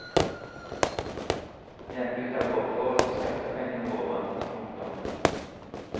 Hjembygda vår får ikke skattepengene våre. punktum